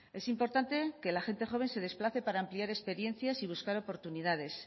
es importante que la gente joven se desplace para ampliar experiencias y buscar oportunidades